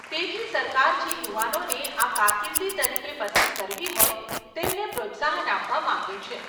તેથી સરકાર જે યુવાનોને આ કારકિર્દી તરીકે પસંદ કરવી હોય તેમને પ્રોત્સાહન આપવા માંગે છે.